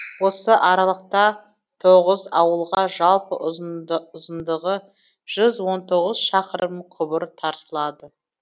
осы аралықта тоғыз ауылға жалпы ұзындағы жүз он тоғыз шақырым құбыр тартылды